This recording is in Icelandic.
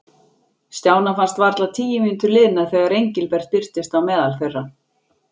Stjána fannst varla tíu mínútur liðnar þegar Engilbert birtist á meðal þeirra.